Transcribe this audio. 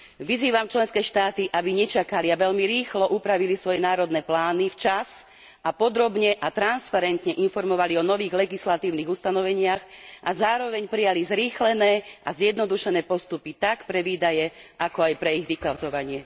Vyzývam členské štáty, aby nečakali a veľmi rýchlo upravili svoje národné plány, včas, podrobne a transparentne informovali o nových legislatívnych ustanoveniach a zároveň prijali zrýchlené a zjednodušené postupy, tak pre výdaje, ako aj pre ich vykazovanie.